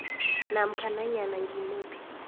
namkha nanyana ngimuphi